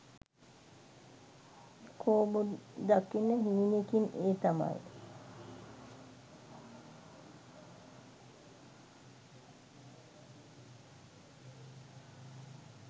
Ichabod දකින හීනෙකින් ඒ තමයි